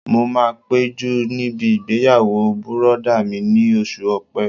Mo máa péjú níbi ìgbéyàwó bùrọ̀dá mi ní oṣù ọ̀pẹ